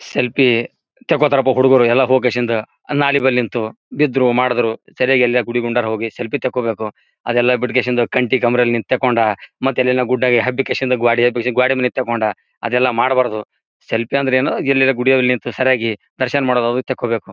Selfie ತೆಕೊತರ ಅಪ ಹುಡುಗ್ರು ಎಲ್ಲ ಹೊಕೆಸಿಂದ ನಾಲಿ ಬಲ್ಲಿ ನಿಂತು ಬಿದ್ರು ಮಾಡಿದ್ರು ಸರಿಯಾಗಿ ಎಲ್ಲರೆ ಗುಡಿ ಗುಂಡಾರ ಹೊಗಿ ಸೆಲ್ಫಿ ತಗೋಬೇಕು ಅದೆಲ್ಲ ಬಿಟ್ಟುಕೆಸಿಂದ ಕಂಟಿ ಕಮ್ರೆಲಿ ನಿಂತ್ ತೆಕೊಂಡ ಮತ್ತೆ ಎಲ್ಲನೊ ಗುಡ್ಡ್ಡ ಹಬ್ಬಕೆಸಿಂದ ಗೋಡಿ ಹಬ್ಸಸಿ ತಕೊಂಡ ಅದೆಲ್ಲ ಮಾಡಬಾರದು ಸೆಲ್ಫಿ ಅಂದ್ರೇನು ಎಲ್ಲ ಅರೆ ಗುಡಿ ಅದು ನಿಂತು ಸರಿಯಾಗಿ ದರ್ಶನ ಮಾಡದು ಅದು ತಗೋಬೇಕು.